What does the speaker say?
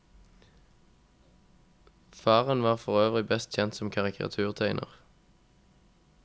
Faren var forøvrig best kjent som karikaturtegner.